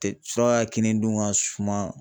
Suraka kini dun ka suma